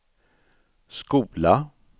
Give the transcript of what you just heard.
skola